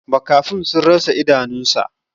Makafin sun rasa idanunsa.